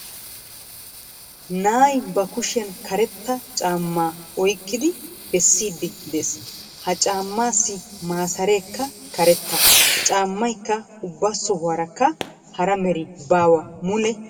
Na'ay ba kushiyan karetta caammaa oyqqidi bessiiddi de'ees. Ha caammaassi maasareekka karetta. Caammaykk ubba sohuwarakka hara meri baawa mule karetta.